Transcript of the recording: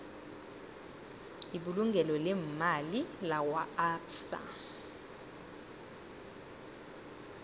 ibulungo leemali lakwaabsa